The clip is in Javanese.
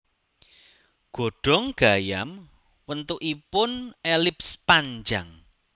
Godhong gayam wentukipoun elips panjang